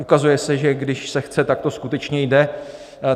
Ukazuje se, že když se chce, tak to skutečně jde.